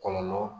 Kɔlɔlɔ